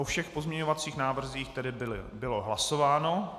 O všech pozměňovacích návrzích tedy bylo hlasováno.